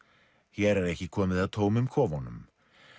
hér er ekki komið að tómum kofunum